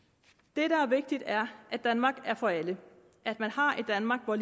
det der er vigtigt er at danmark er for alle at man har et danmark hvor